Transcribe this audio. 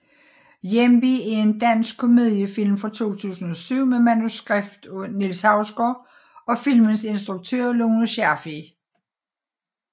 Hjemve er en dansk komediefilm fra 2007 med manuskript af Niels Hausgaard og filmens instruktør Lone Scherfig